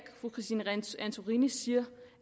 fru christine antorini siger